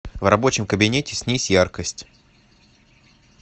в рабочем кабинете снизь яркость